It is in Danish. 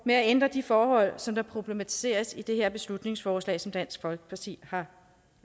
med at ændre de forhold som problematiseres i det her beslutningsforslag som dansk folkeparti har